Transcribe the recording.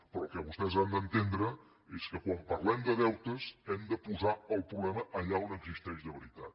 però el que vostès han d’entendre és que quan parlem de deutes hem de posar el problema allà on existeix de veritat